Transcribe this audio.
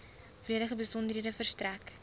volledige besonderhede verstrek